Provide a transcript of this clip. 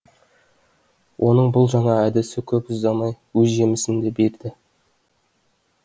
оның бұл жаңа әдісі көп ұзамай өз жемісін де берді